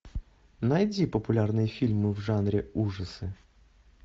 найди популярные фильмы в жанре ужасы